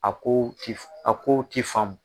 A ko ti a kow ti faamu.